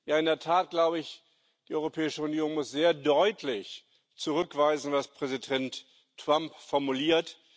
Ja, in der Tat glaube ich, die Europäische Union muss sehr deutlich zurückweisen, was Präsident Trump formuliert.